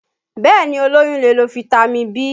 Bẹ́ẹ̀ni, olóyún lè lo fitami B